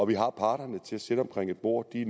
vi har parterne til at sidde omkring et bord og de